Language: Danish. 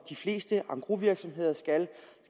de fleste engrosvirksomheder skal